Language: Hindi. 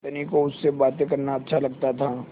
धनी को उससे बातें करना अच्छा लगता था